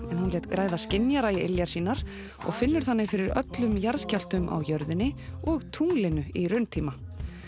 hún lét græða skynjara í iljar sínar og finnur þannig fyrir öllum jarðskjálftum á jörðinni og tunglinu í rauntíma